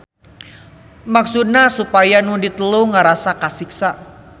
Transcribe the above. Maksudna supaya nu diteluh ngarasa kasiksa.